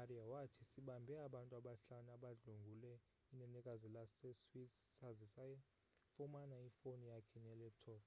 arya wathi sibambe abantu abahlanu abadlwengule inenekazi lase swiss saze sayifumana ifone yakhe nelaptop